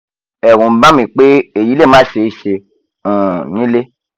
ẹ̀rù ń bà mí pé èyí lè má ṣeéṣe um nílé